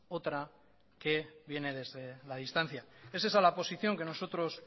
otra que viene desde la distancia es esa la posición que nosotros